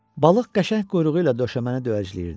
Balıq qəşəng quyruğu ilə döşəməni döyəcləyirdi.